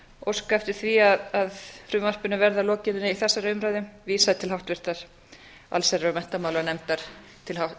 óska eftir því að frumvarpinu verði að lokinni þessari umræðu vísað til háttvirtrar allsherjar og